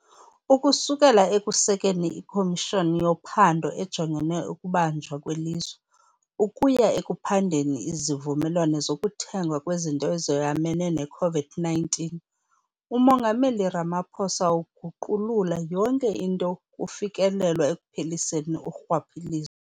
Ukususela ekusekeni iKomishoni yoPhando ejonge ukuBanjwa kweLizwe, ukuya ekuphandeni izivumelwano zokuthengwa kwezinto ezoyamene ne-COVID-19, uMongameli Ramaphosa uguqulula yonke into xa kufikelelwa ekupheliseni urhwaphilizo.